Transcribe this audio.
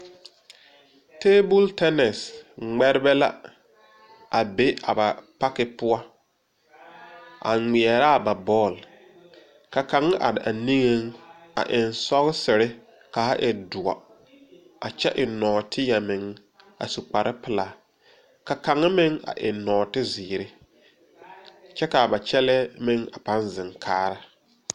Table turners ŋmɛrebɛ la a be a ba park poɔ, a ŋmeɛra a ba bɔl, ka kaŋ are a niŋe a eŋ sɔ kaa e dɔɔ a kyɛ eŋ nɔɔteɛ meŋ a su kpare pelaa ka kaŋ meŋ a eŋ nɔɔteziiri kyɛ kaa ba kyɛlle meŋ a paŋ zeŋ kaara.